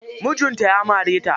Mijin ta ya mare ta.